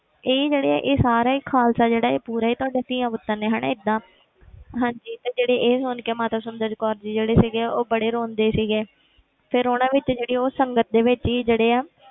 ਇਹ ਜਿਹੜੇ ਇਹ ਸਾਰੇ ਹੀ ਖ਼ਾਲਸਾ ਜਿਹੜਾ ਇਹ ਪੂਰਾ ਹੀ ਤੁਹਾਡਾ ਧੀਆਂ ਪੁੱਤਰ ਨੇ ਹਨਾ ਏਦਾਂ ਹਾਂਜੀ ਤੇ ਜਿਹੜੇ ਇਹ ਸੁਣ ਕੇ ਮਾਤਾ ਸੁੰਦਰ ਕੌਰ ਜੀ ਜਿਹੜੇ ਸੀਗੇ ਉਹ ਬੜੇ ਰੋਂਦੇ ਸੀਗੇ ਫਿਰ ਉਹਨਾਂ ਵਿੱਚ ਜਿਹੜੀ ਉਹ ਸੰਗਤ ਦੇ ਵਿੱਚ ਹੀ ਜਿਹੜੇ ਆ,